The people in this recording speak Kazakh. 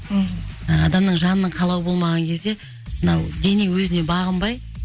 мхм адамның жанның қалауы болмаған кезде мынау дене өзіне бағынбай